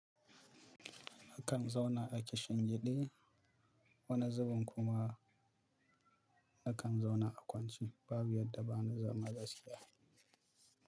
Nakan zauna a Kishin Gidi, wani zubin kuma nakan zauna a kwance, babu yadda bani zama gaskiya.